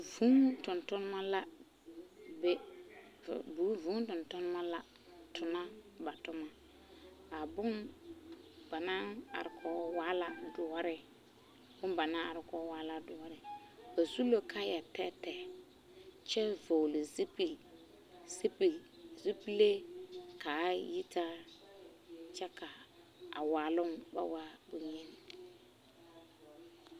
Vūū tontoneba la a tona ba toma a boŋ ba naŋ are o poɔŋ waa la doɔre ba su la kaayɛ tɛɛtɛɛ kyɛ vɔgle zupilee ka a yitaa kyɛ ka a waaloŋ ba waa boŋyeni.